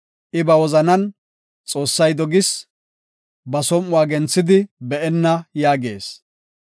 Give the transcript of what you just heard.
I ba wozanan, “Xoossay dogis. Ba som7uwa genthidi be7enna” yaagees.